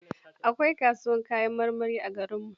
Akwai kasuwar kayan marmari a garinmu.